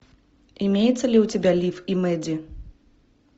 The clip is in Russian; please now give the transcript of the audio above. имеется ли у тебя лив и мэдди